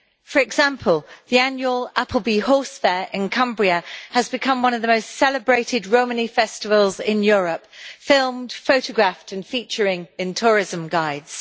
For example, the annual Appleby Horse Fair in Cumbria has become one of the most celebrated Romany festivals in Europe, filmed, photographed and featuring in tourism guides.